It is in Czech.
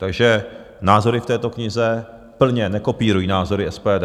Takže názory v této knize plně nekopírují názory SPD.